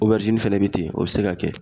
fɛnɛ bɛ ten o bɛ se ka kɛ